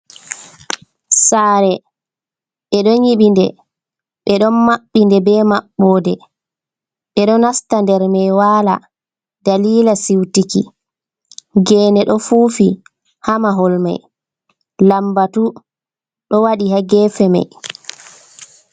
"Sare" ɓe don yibi nde ɓe don maɓɓi nde be mabbo de ɓe do nasta nder mai wala dalila siwtiki gene do fufi ha mahol mai lambatu do wadi ha gefe mai.